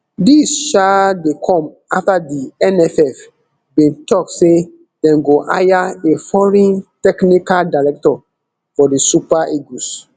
dis um dey come afta di nff bin tok say dem go hire a foreign technical director for di super eagles